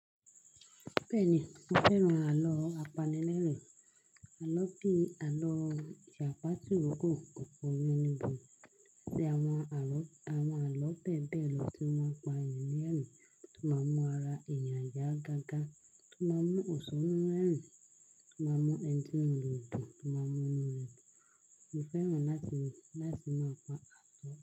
Bẹ́ẹ̀ni, mo fẹ́ran àlọ́ apanilẹ́rìn. Àlọ́ bíi àlọ́ ìjàpá tirogọ, ọ̀kọ̀ yánníbo, àti àwọn àlọ́ bẹ́ẹ̀ bẹ́ẹ̀ lọ tí wọ́n ń pa enìyàn lerin, tí ó máa ń mú ara èniyàn yá gágá, tí ó máa ń mú òṣòró rẹ́rìn, tí ó máa ń mú ẹ̀ni ti ínú re o dun, tí ó máa ń mú inú rẹ dùn. Mo fẹ́ràn láti máa pa àlọ́